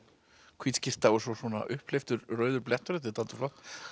hvít skyrta og svona upphleyptur rauður blettur þetta er dálítið flott